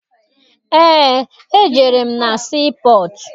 Eé, ejere m na sii pọtụ.